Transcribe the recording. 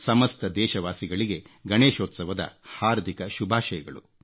ಸಮಸ್ತ ದೇಶವಾಸಿಗಳಿಗೆ ಗಣೇಶೋತ್ಸವದ ಹಾರ್ದಿಕ ಶುಭಾಶಯಗಳು